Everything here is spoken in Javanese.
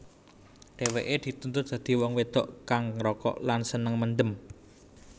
Dheweke dituntut dadi wong wedok kang ngrokok lan seneng mendem